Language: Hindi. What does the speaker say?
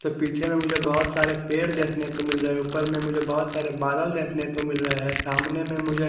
तो पीछे मे मुझे बहुत सारे पेड़ देखने को मिल रहे है ऊपर में मुझे बहुत सारे बादल देखने को मिल रहे हैं सामने में मुझे--